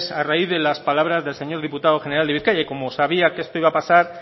a raíz de las palabras del señor diputado general de bizkaia y como sabía que esto iba a pasar